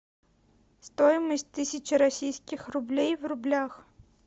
стоимость тысячи российских рублей в рублях